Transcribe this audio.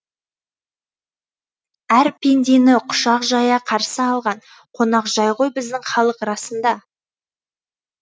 әр пендені құшақ жая қарсы алған қонақжай ғой біздің халық расында